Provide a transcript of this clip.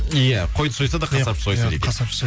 иә қойды сойса да қасапшы сойсын дейді иә қасапшы